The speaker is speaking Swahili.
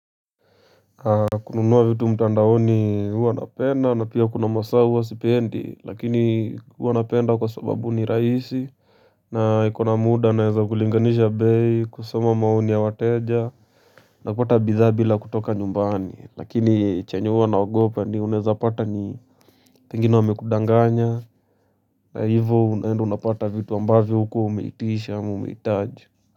Kununuwa vitu mtandaoni hua napenda na pia kuna masaa hua sipendi lakini hua napenda kwa sababu ni raisi. Na iko na muda naeza kulinganisha bei kusoma maoni ya wateja. Na kupata bidhaa bila kutoka nyumbani lakini chenye huwa naogopa ni uneza pata ni pengine wamekudanganya. Na hivo unaenda unapata vitu ambavyo hukuwa umeitisha ama umeitaji.